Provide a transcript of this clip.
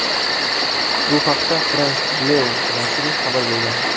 Bu haqda France Bleu nashri xabar bergan .